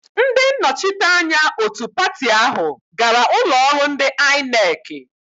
Ndị nnọchite anya òtù pati áhụ̀ gara ụlọọrụ ndị Aịnekị.